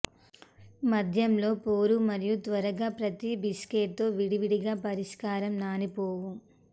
మద్యం లో పోర్ మరియు త్వరగా ప్రతి బిస్కట్ తో విడివిడిగా పరిష్కారం నాని పోవు